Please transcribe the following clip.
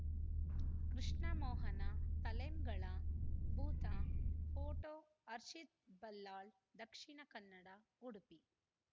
ಕೃಷ್ಣಮೋಹನ ತಲೆಂಗಳ ಭೂತ ಫೋಟೋ ಹರ್ಷಿತ್‌ ಬಲ್ಲಾಳ್‌ ದಕ್ಷಿಣ ಕನ್ನಡ ಉಡುಪಿ